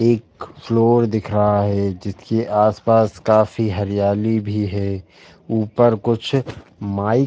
एक फ्लोर दिख रहा है जिसके आस-पास काफी हरियाली भी है। ऊपर कुछ माइक --